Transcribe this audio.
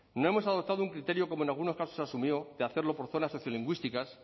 no hemos adoptado un criterio como en algunos casos se asumió de hacerlo por zonas sociolingüísticas